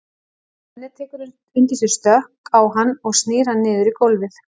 Svenni tekur undir sig stökk á hann og snýr hann niður í gólfið.